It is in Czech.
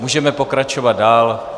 Můžeme pokračovat dále.